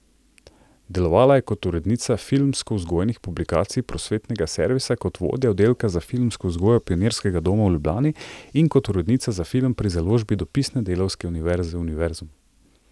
Delovala je kot urednica filmskovzgojnih publikacij Prosvetnega servisa, kot vodja oddelka za filmsko vzgojo Pionirskega doma v Ljubljani in kot urednica za film pri založbi Dopisne delavske univerze Univerzum.